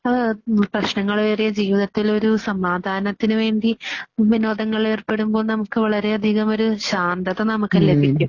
ആ പ്രശ്നങ്ങളേറിയ ജീവിതത്തിൽ ഒരു സമാധാനത്തിനുവേണ്ടി വിനോദങ്ങളിലേർപ്പെടുമ്പോൾ നമുക്ക് വളരെയധികമൊരു ശാന്തത നമുക്ക് ലഭിക്കും.